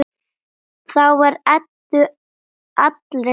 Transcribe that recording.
Þá var Eddu allri lokið.